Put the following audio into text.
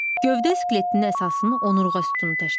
Gövdə skeletinin əsasını onurğa sütunu təşkil eləyir.